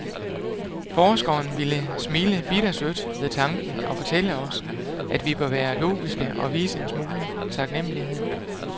Forskeren ville smile bittersødt ved tanken og fortælle os, at vi bør være logiske, og vise en smule taknemmelighed.